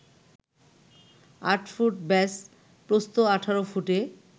৮ foot ব্যাস, প্রস্থ ১৮ ফুটে